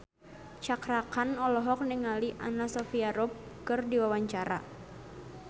Cakra Khan olohok ningali Anna Sophia Robb keur diwawancara